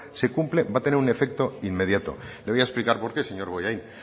se cumple va a tener un efecto inmediato le voy a explicar por qué señor bollain